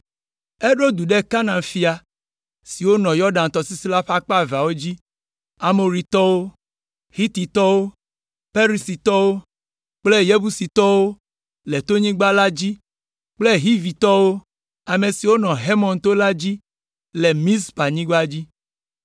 Eɖo du ɖe Kanaan fia siwo nɔ Yɔdan tɔsisi la ƒe akpa eveawo dzi, Amoritɔwo, Hititɔwo, Perizitɔwo kple Yebusitɔwo le tonyigba la dzi kple Hivitɔwo, ame siwo nɔ Hermon to la dzi le Mizpanyigba dzi.